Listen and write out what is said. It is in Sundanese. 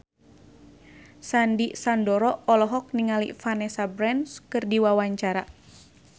Sandy Sandoro olohok ningali Vanessa Branch keur diwawancara